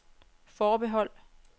forbehold